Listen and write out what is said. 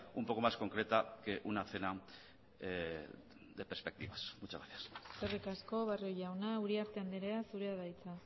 un poco más concreta que una cena de perspectivas muchas gracias eskerrik asko barrio jauna uriarte andrea zurea da hitza